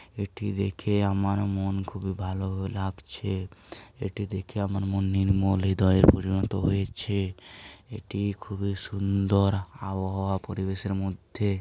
এটি দেখে আমার মন খুবই ভালো লাগছে। এটি দেখে আমার মন নির্মল হৃদয়ে পরিণত হয়েছে। এটি খুবই সুন্দর আবহাওয়া পরিবেশের মধ্যে।